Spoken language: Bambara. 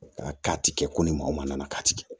A k'a ti kɛ ko ni maa o maa nana k'a ti kɛ